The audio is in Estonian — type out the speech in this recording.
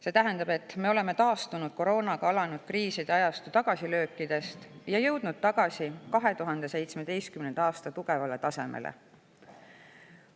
See tähendab, et me oleme taastunud koroonaga alanud kriiside ajastu tagasilöökidest ja jõudnud tagasi 2017. aasta tugevale tasemele.